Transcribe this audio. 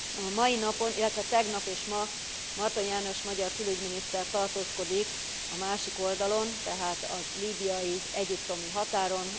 A mai napon, illetve tegnap és ma, Martonyi János magyar külügyminiszter tartózkodik a másik oldalon, tehát a líbiai egyiptomi határon.